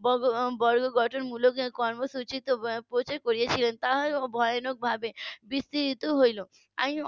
. বর্গ গঠন মূলক কর্মসূচি . ভয়ানক ভাবে বিস্তৃত হলো .